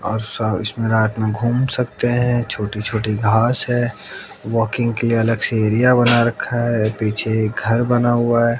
और सब इसमें रात में घूम सकते है छोटी छोटी घास हैं वॉकिंग के लिए अलग से एरिया बना रखा है पीछे एक घर बना हुआ है।